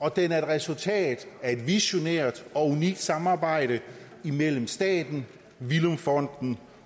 og den er et resultat af et visionært og unikt samarbejde mellem staten villum fonden